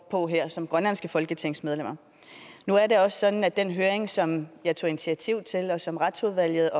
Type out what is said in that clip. på her som grønlandske folketingsmedlemmer nu er det også sådan at den høring som jeg tog initiativ til og som retsudvalget